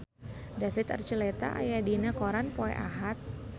David Archuletta aya dina koran poe Ahad